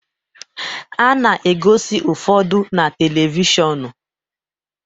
A na-egosi ụfọdụ na televishọnu